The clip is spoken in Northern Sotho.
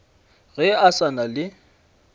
ge a sa na le